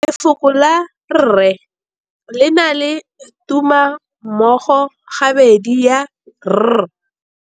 Lefoko la rre le na le tumammogôpedi ya, r.